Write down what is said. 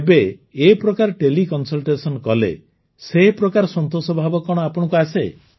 ଏବେ ଏ ପ୍ରକାର ତେଲେ କନସଲଟେସନ କଲେ ସେପ୍ରକାର ସନ୍ତୋଷ ଭାବ କଣ ଆପଣଙ୍କୁ ଆସେ